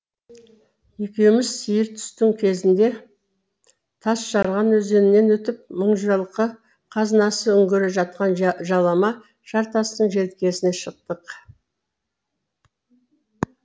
екеуіміз сиыр түстің кезінде тасжарған өзенінен өтіп мыңжылқы қазынасы үңгірі жатқан жалама жартастың желкесіне шықтық